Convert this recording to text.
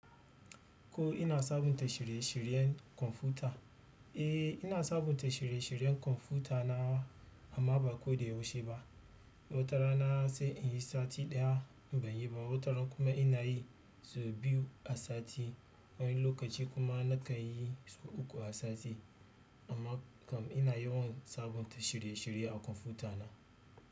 Ko ina sabunta shirye-shiryen kwamfuta? Eh ina sabunta shirye-shiryen kwamfuta na amma ba koda yaushe ba. Wata rana sai inyi sati ɗaya banyi ba, wataran kuma inayi sau biyu a sati, wani lokaci kuma nakanyi sau uku a sati. Amma kam ina yawan sabunta shirye-shirye a kwamfuta na.